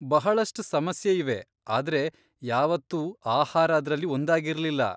ಬಹಳಷ್ಟ್ ಸಮಸ್ಯೆಯಿವೆ ಆದ್ರೆ ಯಾವತ್ತೂ ಆಹಾರ ಅದ್ರಲ್ಲಿ ಒಂದಾಗಿರ್ಲಿಲ್ಲ!